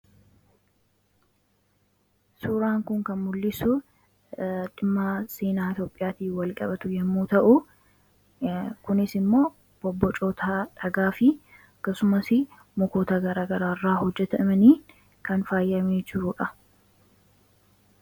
Suuraan kun kan mul'isu dhimma seenaa Itoophiyaatiin wal qabatu yommuu ta'u kunis immoo bobboocotaa dhagaa fi akkasumas mukoota garaa garaa irraa hojjetamanii kan faayyamee jiruudha.